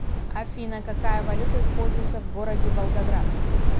афина какая валюта используется в городе волгоград